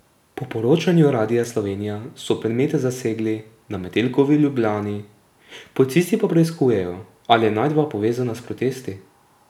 Po poročanju Radia Slovenija so predmete zasegli na Metelkovi v Ljubljani, policisti pa preiskujejo, ali je najdba povezana s protesti.